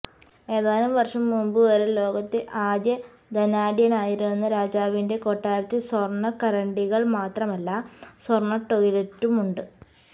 ഏതാനും വര്ഷം മുമ്പുവരെ ലോകത്തെ ആദ്യ ധനാഢ്യനായിരുന്ന രാജാവിന്റെ കൊട്ടാരത്തില് സ്വര്ണ കരണ്ടികള് മാത്രമല്ല സ്വര്ണ ടോയ് ലറ്റുമുണ്ട്